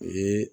U ye